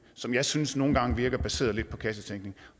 som jeg synes nogle gange virker baseret lidt på kassetænkning